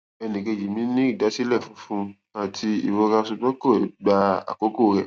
ẹnìkejì mi ní ìdásílẹ funfun àti ìrora ṣùgbọn kò gba àkókò rẹ